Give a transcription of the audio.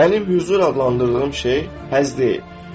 Mənim hüzur adlandırdığım şey həzz deyil.